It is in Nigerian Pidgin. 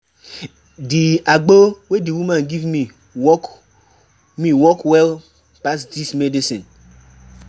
Di agbo wey di woman give me work me work well pass dis medicine.